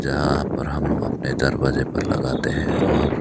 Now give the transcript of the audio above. यहां पर हम लोग अपने दरवाजे पर लगाते हैं और--